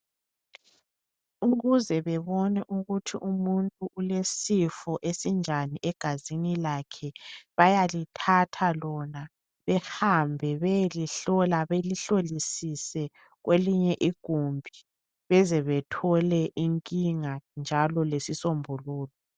Ukuze bebone ukuthi umuntu ulesifo esinjani egazini lakhe, bayalithatha lona behambe beyelihlola belihlolisise kwelinye igumbi bezethole inkinga njalo lesisombululo.